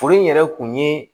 Furu in yɛrɛ kun ye